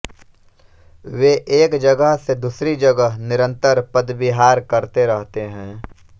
वे एक जगह से दूसरी जगह निरन्तर पदविहार करते रहतें है